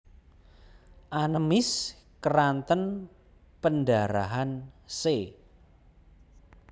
Anemis keranten pendharahan c